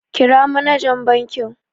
Kira manajan bankin.